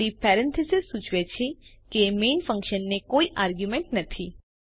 ખાલી પેરેન્થેસીસ સૂચવે છે કે મેઇન ફન્કશનને કોઈ આરગ્યુંમેન્ટ નથી